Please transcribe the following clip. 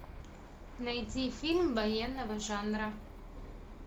найди фильм военного жанра